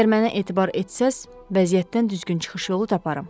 Əgər mənə etibar etsəz, vəziyyətdən düzgün çıxış yolu taparam.